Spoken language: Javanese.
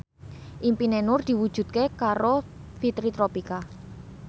impine Nur diwujudke karo Fitri Tropika